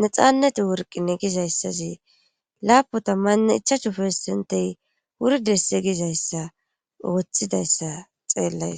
nexaaneti worqine gizayssasi laapu tammanne ichachu pessentey wurdesse gizayssa woththidayssa xeellays